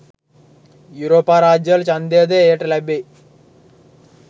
යුරෝපා රාජ්‍යවල ඡන්දය ද එයට ලැබේ